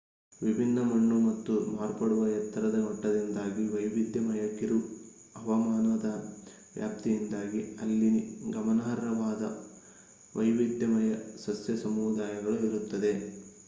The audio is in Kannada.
ವಿಭಿನ್ನ ಮಣ್ಣು ಮತ್ತು ಮಾರ್ಪಡುವ ಎತ್ತರದ ಮಟ್ಟದಿಂದಾಗಿ ವೈವಿಧ್ಯಮಯ ಕಿರು ಹವಾಮಾನದ ವ್ಯಾಪ್ತಿಯಿಂದಾಗಿ ಅಲ್ಲಿ ಗಮನಾರ್ಹವಾದ ವೈವಿಧ್ಯಮಯ ಸಸ್ಯ ಸಮುದಾಯಗಳು ಇರುತ್ತದೆ